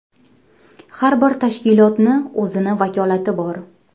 Har bir tashkilotni o‘zini vakolati bor.